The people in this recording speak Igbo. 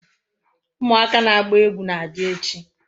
Umuaka na agba egwu na-abia echi